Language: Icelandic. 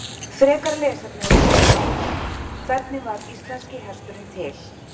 Frekara lesefni á Vísindavefnum: Hvernig varð íslenski hesturinn til?